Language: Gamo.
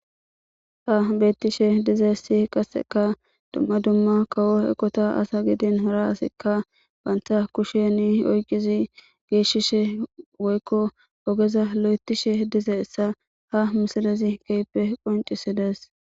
Ha beettishe dize si qasseka dumma dumma kawo ekota asa gidin hara asikka baynta kusheni oyqizi geeshshishe woykko ogeza lo7etishe dize essa ha misalezi keyppe qoncisidees.